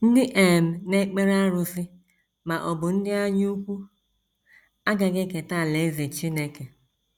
Ndị um na - ekpere arụsị... ma ọ bụ ndị anyaukwu... agaghị eketa alaeze Chineke. ”